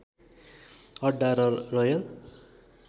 अड्डा र रयल